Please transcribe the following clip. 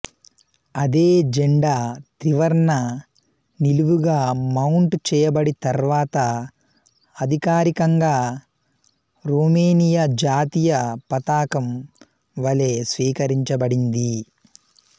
అదే జెండా త్రివర్ణ నిలువుగా మౌంట్ చేయబడి తర్వాత అధికారికంగా రోమేనియా జాతీయ పతాకం వలె స్వీకరించబడింది